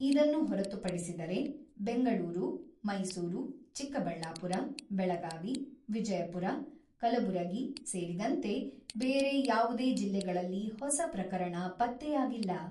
ಇದನ್ನು ಹೊರತುಪಡಿಸಿದರೆ, ಬೆಂಗಳೂರು, ಮೈಸೂರು, ಚಿಕ್ಕಬಳ್ಳಾಪುರ, ಬೆಳಗಾವಿ, ವಿಜಯಪುರ, ಕಲಬುರಗಿ, ಸೇರಿದಂತೆ ಬೇರೆ ಯಾವುದೇ ಜಿಲ್ಲೆಗಳಲ್ಲಿ ಹೊಸ ಪ್ರಕರಣ ಪತ್ತೆಯಾಗಿಲ್ಲ.